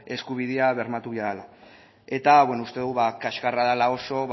eskubidea bermatu behar dela eta uste dugu kaxkarra dela oso